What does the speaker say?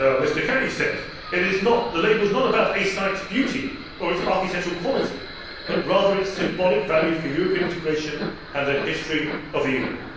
As Mr Kelly said, the label is not about a site's beauty or its architectural quality, but rather its symbolic value for European integration and the history of the Union.